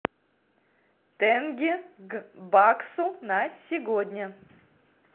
тенге к баксу на сегодня